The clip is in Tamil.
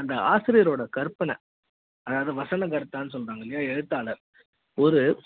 அந்த ஆசிரியரோட கற்பனைஅதாவது வசனகர்த்தாசொல்லுவாங்கயில்லயா எழுத்தாளர்